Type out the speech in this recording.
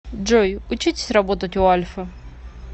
джой учитесь работать у альфы